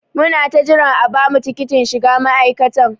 Muna ta jiran a bamu tikitin shiga ma'aikatan.